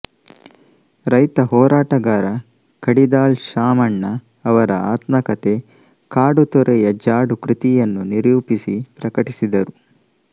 ರೈತ ಹೋರಾಟಗಾರ ಕಡಿದಾಳ್ ಶಾಮಣ್ಣ ಅವರ ಆತ್ಮಕತೆ ಕಾಡುತೊರೆಯ ಜಾಡು ಕೃತಿಯನ್ನು ನಿರೂಪಿಸಿ ಪ್ರಕಟಿಸಿದರು